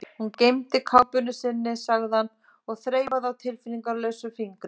Hún gleymdi kápunni sinni, sagði hann og þreifaði á tilfinningalausa fingrinum.